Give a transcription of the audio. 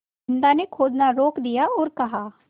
बिन्दा ने खोदना रोक दिया और कहा